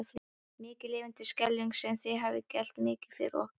Mikið lifandis skelfing sem þér hafið gert mikið fyrir okkur.